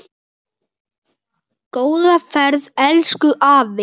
Góða ferð, elsku afi.